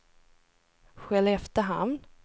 Skelleftehamn